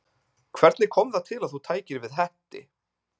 Hvernig kom það til að þú tækir við Hetti?